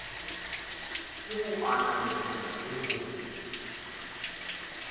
ke ho ananela le ho